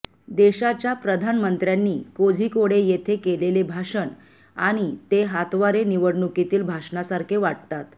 देशाच्या प्रधानमंत्र्यांनी कोझिकोडे येथे केलेले भाषण आणि ते हातवारे निवडणुकीतील भाषणासारखे वाटतात